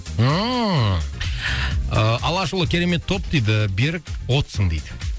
ммм ы алашұлы керемет топ дейді берік отсың дейді